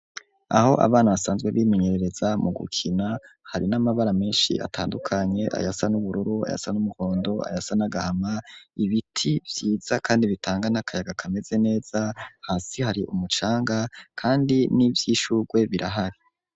Aho abana basanzwe bimenyerereza mu gukina hari n'amabara menshi atandukanye ayasa n'ubururu, ayasa n'umuhondo, ayasa nagahama ibiti vyiza kandi bitanga n'akayaga kameze neza hasi hari umucanga kandi n'ivy'ishugwe birahari.